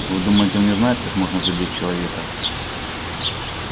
вы думаете он не знает как можно задеть человека